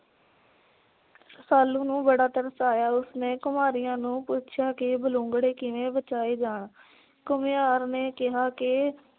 ਰੁਸਾਲੂ ਨੂੰ ਬੜਾ ਤਰਸ ਆਇਆ। ਉਸਨੇ ਘੁਮਾਰੀਆਂ ਨੂੰ ਪੁੱਛਿਆ ਕਿ ਬਲੂੰਗੜੇ ਕਿਵੇਂ ਬਚਾਏ ਜਾਣ? ਘੁਮਿਆਰ ਨੇ ਕਿਹਾ ਕਿ